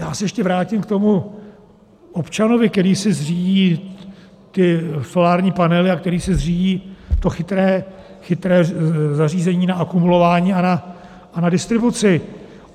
Já se ještě vrátím k tomu občanovi, který si zřídí ty solární panely a který si zřídí to chytré zařízení na akumulování a na distribuci.